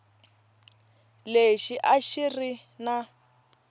lexi a xi ri na